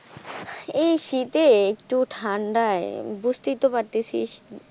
এই শীতে একটু ঠান্ডায় বুঝতেই তো পারতেসিস।